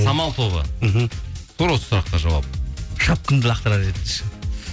самал тобы мхм тура осы сұраққа жауап шапкамды лақтырар едім ше